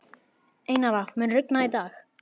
Einara, mun rigna í dag?